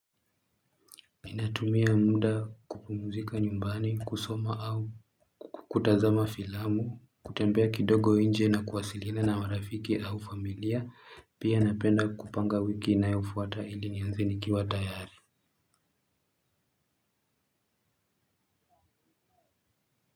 Ninatumia muda kupumuzika nyumbani kusoma au kutazama filamu kutembea kidogo nje na kuwasiliana na marafiki au familia pia napenda kupanga wiki inayofuata ili nianze nikiwa tayari.